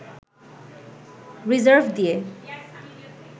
reserve দিয়ে